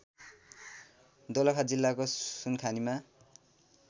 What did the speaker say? दोलखा जिल्लाको सुनखानीमा